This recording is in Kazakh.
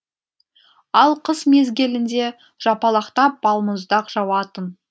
ал қыс мезгілінде жапалақтап балмұздақ жауатын